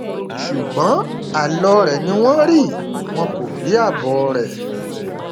ṣùgbọn àlọ rẹ ni wọn rí wọn kò rí àbọ rẹ